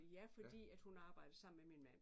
Ja fordi at hun arbejdede sammen med min mand